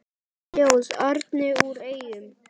Ljóð: Árni úr Eyjum